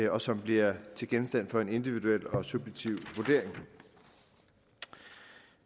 og som bliver til genstand for en individuel og subjektiv vurdering